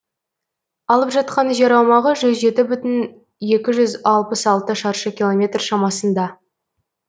алып жатқан жер аумағы жүз жеті бүтін екі жүз алпыс алты шаршы километр шамасында